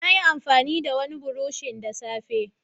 Nayi amfani da wani burushin da safe